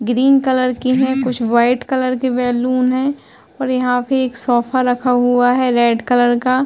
Green colour की है। कुछ व्हाइट कलर की बैलून है और यहां पे एक सोफ़ा रखा हुआ है रेड कलर का।